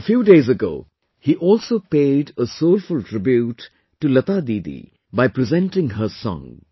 A few days ago, he also paid a soulful tribute to Lata didi by presenting her song